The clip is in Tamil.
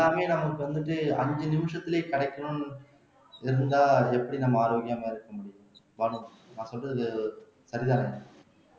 எல்லாமே நமக்கு வந்துட்டு அஞ்சு நிமிஷத்துலயே கிடைக்கணும்ன்னு இருந்தா எப்படி நம்ம ஆரோக்கியமா இருக்க முடியும் உதாரணத்துக்கு நான் சொல்றது சரிதானே